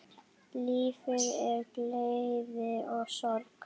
Lífið er gleði og sorg.